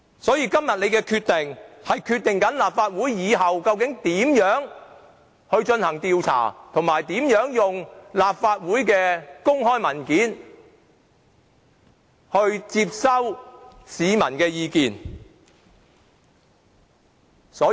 因此，今天大家所作的決定，將決定立法會日後如何進行調查，以及如何利用立法會的公開文件接收市民的意見。